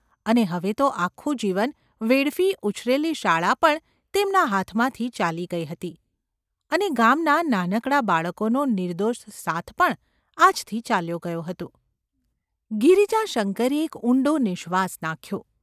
અને હવે તો આખું જીવન વેડફી ઉછરેલી શાળા પણ તેમના હાથમાંથી ચાલી ગઈ હતી અને ગામનાં નાનકડાં બાળકોનો નિર્દોષ સાથ પણ આજથી ચાલ્યો ગયો હતો ! ગિરિજાશંકરે એક ઊંડો નિઃશ્વાસ નાખ્યો.